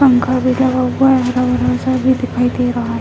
पंखा भी लगा हुआ है भी दिखाई दे रहा है।